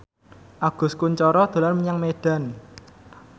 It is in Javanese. Agus Kuncoro dolan menyang Medan